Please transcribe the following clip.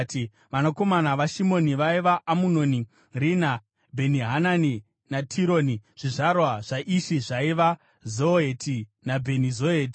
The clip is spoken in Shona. Vanakomana vaShimoni vaiva: Amunoni, Rina, Bheni-Hanani naTironi. Zvizvarwa zvaIshi zvaiva: Zoheti naBheni-Zoheti.